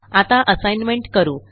आता असाइनमेंट करू